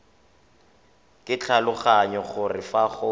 ke tlhaloganya gore fa go